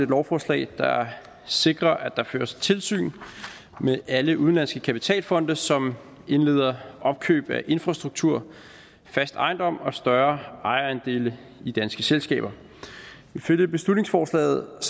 lovforslag der sikrer at der føres tilsyn med alle udenlandske kapitalfonde som indleder opkøb af infrastruktur fast ejendom og større ejerandele i danske selskaber ifølge beslutningsforslaget